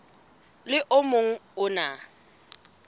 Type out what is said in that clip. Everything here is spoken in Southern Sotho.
le o mong o na